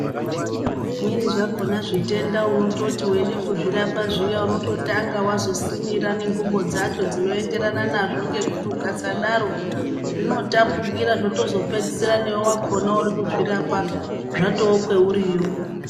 Zvimweni zvakona zvitenda unototi weide kuzvirapa zviya unototanga wazosimira nengubo dzacho dzinoenderana nazvo ngekuti ukasadaro zvinotapukira zvotozopedzisira newe wakhona uri kuzvirapa zvatookweuriyo.